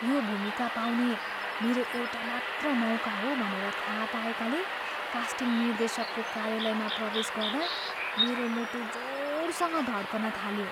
यो भूमिका पाउने मेरो एउटा मात्र मौका हो भनेर थाहा पाएकाले कास्टिङ निर्देशकको कार्यालयमा प्रवेश गर्दा मेरो मुटु जोडसँग धड्कन थाल्यो।